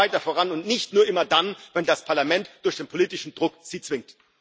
Gehen Sie weiter voran und nicht nur immer dann, wenn das Parlament Sie durch politischen Druck zwingt!